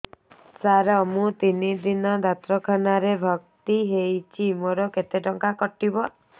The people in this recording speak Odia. ସାର ମୁ ତିନି ଦିନ ଡାକ୍ତରଖାନା ରେ ଭର୍ତି ହେଇଛି ମୋର କେତେ ଟଙ୍କା କଟିବ